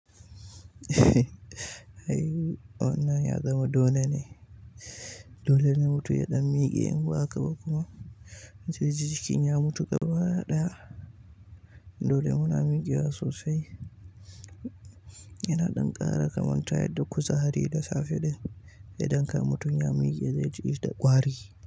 Ai wannan ya zama dole ne, dole ne mutum ya ɗan miƙe in ba haka ba kuma zai ji jikin ya mutu gaba ɗaya. Dole muna miƙewa sosai, yana ɗan ƙara kamanta yadda kuzari da safe din, ya ɗan ka mutum ya miƙe zai ji da ƙwari.